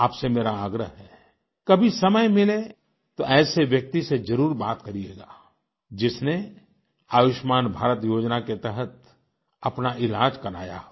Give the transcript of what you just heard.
आपसे मेरा आग्रह है कभी समय मिले तो ऐसे व्यक्ति से जरूर बात करियेगा जिसने आयुष्मान भारत योजना के तहत अपना इलाज कराया हो